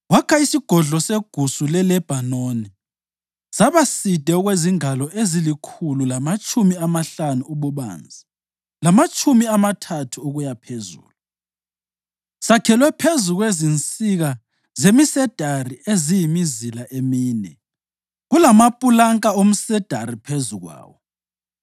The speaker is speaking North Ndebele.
Wakha isiGodlo seGusu leLebhanoni saba side okwezingalo ezilikhulu, lamatshumi amahlanu ububanzi lamatshumi amathathu ukuyaphezulu, sakhelwe phezu kwezinsika zemisedari eziyimizila emine, kulamapulanka omsedari phezu kwayo.